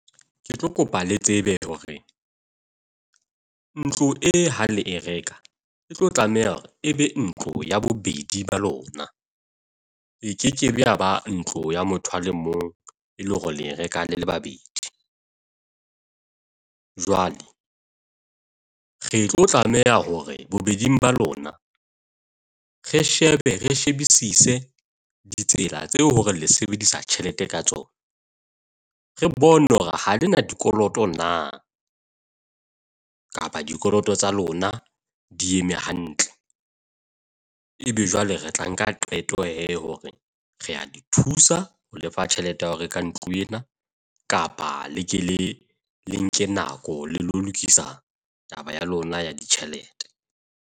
Ke tlo kopa le tsebe hore ntlo e hang le e reka, e tlo tlameha hore e be ntlo ya bobedi ba lona. E kekebe yaba ntlo ya motho a le mong e le hore le reka le le babedi. Jwale re tlo tlameha hore bobedi ba lona re shebe re shebisise ditsela tseo hore le sebedisa tjhelete ka tsona. Re bone hore ha le na dikoloto na, kapa dikoloto tsa lona di eme hantle. Ebe jwale re tla nka qeto hee hore re a di thusa ho le fa tjhelete ya ho reka ntlo ena. Kapa le ke le le nke nako le lokisa taba ya lona ya ditjhelete.